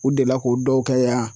U delila k'u dɔw kɛ yan.